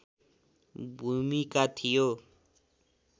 भूमिका थियो